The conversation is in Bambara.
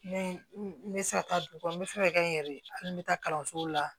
Ne n bɛ se ka taa du kɔnɔ n bɛ fɛ ka kɛ n yɛrɛ ye hali n bɛ taa kalanso la